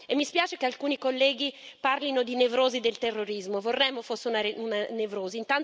Mi spiace che alcuni colleghi parlino di nevrosi del terrorismo, vorremmo fosse una nevrosi.